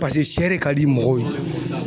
Paseke sɛ re ka di mɔgɔw ye.